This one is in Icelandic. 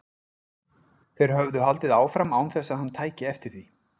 Þeir höfðu haldið áfram án þess að hann tæki eftir því.